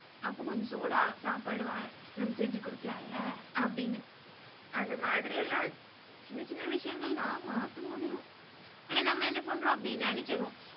அப்ப கொஞ்சம் சூடா சாப்பாடு நம்ம செஞ்சு கொடுக்கலாம்ல அப்படீன்னு. அந்த மாதிரி எல்லாம் சின்ன சின்ன விஷயங்கள் தான் மாத்த முடியும். ஆனா நம்ம என்ன பண்றோம் அப்படி நினைக்கிறோம்.